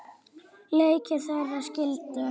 Leiðir þeirra skildu.